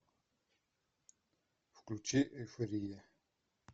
включи эйфория